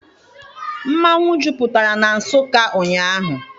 Mmanwụ jupụtara na Nsụka ụnyaahụ.